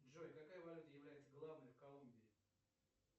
джой какая валюта является главной в колумбии